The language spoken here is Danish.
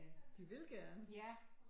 De vil gerne